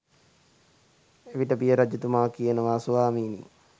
එවිට පිය රජතුමා කියනවා ස්වාමිනි